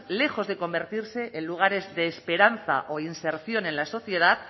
lejos de convertirse en lugares de esperanza o inserción en la sociedad